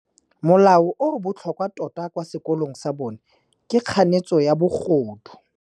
Molao o o botlhokwa tota kwa sekolong sa bone ke kganetsô ya bogodu.